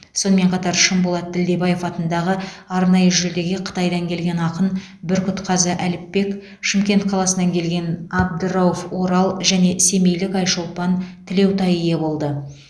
сонымен қатар шынболат ділдебаев атындағы арнайы жүлдеге қытайдан келген ақын бүркітқазы әліпбек шымкент қаласынан келген абдырауф орал және семейлік айшолпан тілеутай ие болды